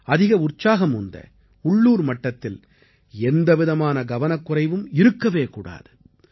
அதிக உற்சாகம் உந்த உள்ளூர் மட்டத்தில் எந்த விதமான கவனக்குறைவும் இருக்கவே கூடாது